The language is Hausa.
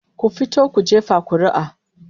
Ku fito ku jefa kuri'a